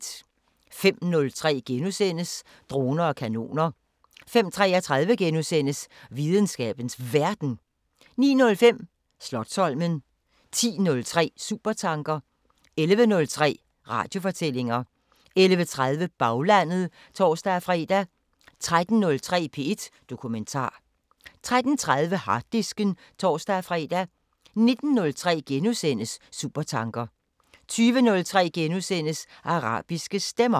05:03: Droner og kanoner * 05:33: Videnskabens Verden * 09:05: Slotsholmen 10:03: Supertanker 11:03: Radiofortællinger 11:30: Baglandet (tor-fre) 13:03: P1 Dokumentar 13:30: Harddisken (tor-fre) 19:03: Supertanker * 20:03: Arabiske Stemmer *